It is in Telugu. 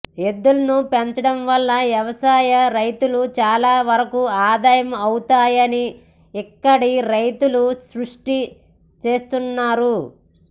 ఎద్దుల్ని పెంచడం వల్ల వ్యవసాయ ఖర్చులు చాలా వరకు ఆదా అవుతున్నాయని ఇక్కడి రైతులు స్పష్టం చేస్తున్నారు